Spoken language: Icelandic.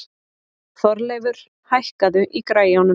Þorleifur, hækkaðu í græjunum.